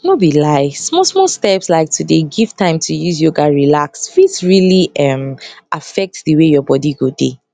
nor be lie small small steps like to give time to use yoga relax fit really um affect di way your bodi go dey